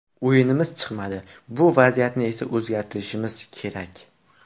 O‘yinimiz chiqmadi, bu vaziyatni esa o‘zgartirishimiz kerak.